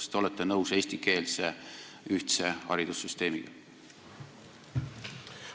Kas te olete nõus eestikeelse ühtse haridussüsteemiga?